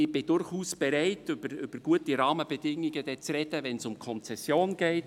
Ich bin durchaus bereit, über gute Rahmenbedingungen zu sprechen, wenn es um die Konzession geht.